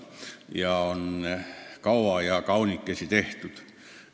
See on kaua ja kaunikesi tehtud eelnõu.